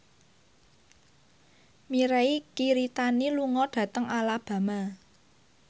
Mirei Kiritani lunga dhateng Alabama